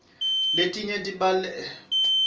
letinye sibhalela kuto